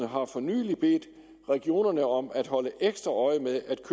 har for nylig bedt regionerne om at holde ekstra øje med